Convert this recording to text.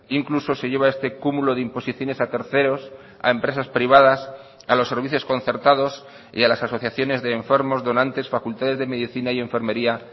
incluso se lleva este cúmulo de imposiciones a terceros a empresas privadas a los servicios concertados y a las asociaciones de enfermos donantes facultades de medicina y enfermería